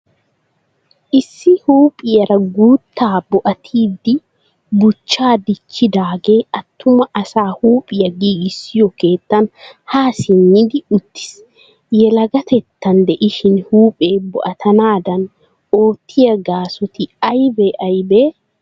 Issi huuphiyara guttaa bo"atida buuchchaa dichchidaagee attuma asaa huuphiya giigissiyo keettan haa simmidi uttiis. Yelagatettan de"ishin huuphee bo"atanaadan ottiya gaasoti aybe aybee?